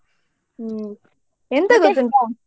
ಹ್ಮ್ .